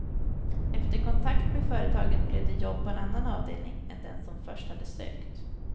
Efter kontakt med företaget blev det jobb på en annan avdelning än den som först hade sökt.